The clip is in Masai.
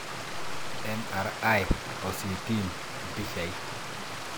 MRI o CT mpishai.